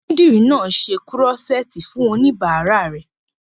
Onídìrí náà n ṣe kúrọ́sẹ́ẹ̀tì fún oníbàárà rẹ̀